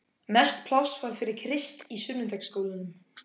Mest pláss var fyrir Krist í sunnudagaskólanum.